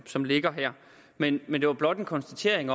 som ligger her men men det var blot en konstatering